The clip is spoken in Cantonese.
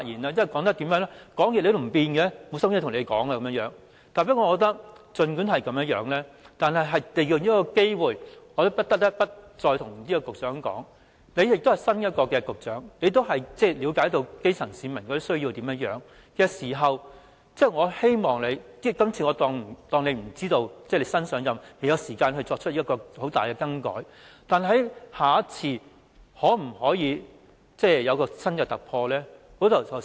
儘管如此，我還是想利用這機會，再告訴局長，他是新任局長，亦了解基層市民的需要，我希望他......我假設他是新任局長，所以不知道或未有時間作出很重大的更改，但在下次，他可否作出新突破？